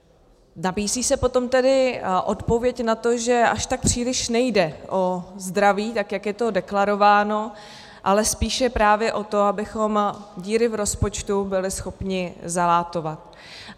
Nabízí se potom tedy odpověď na to, že až tak příliš nejde o zdraví, tak jak je to deklarováno, ale spíše právě o to, abychom díry v rozpočtu byli schopni zalátat.